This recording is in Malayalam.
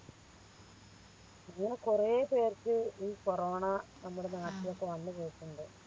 ഇങ്ങനെ കൊറേ പേർക്ക് ഈ കൊറോണ നമ്മുടെ നാട്ടിലൊക്കെ വന്ന് പോയിട്ടുണ്ട്